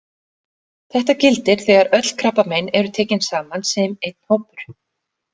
Þetta gildir þegar öll krabbamein eru tekin saman sem einn hópur.